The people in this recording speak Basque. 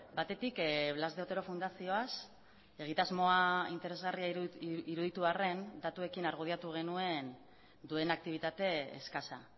batetik blas de otero fundazioaz egitasmoa interesgarria iruditu arren datuekin argudiatu genuen duen aktibitate eskasa